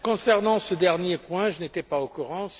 Concernant ce dernier point, je n'étais pas au courant.